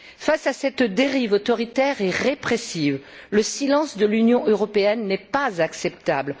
Face à cette dérive autoritaire et répressive, le silence de l'Union européenne n'est pas acceptable.